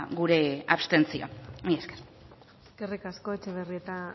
gure abstentzioa mila esker eskerrik asko etxebarrieta